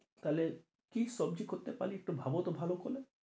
তা হলে কি সবজি করতে পারি, একটু ভাবো তো ভালো করে?